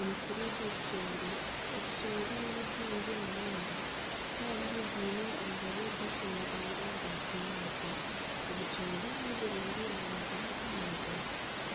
Omusiri gw'obucoori, obucoori ni bwingi munonga kandi bwine amababi gashongwire ga kinyaatsi. Obucoori niburungi aha magara g'omuntu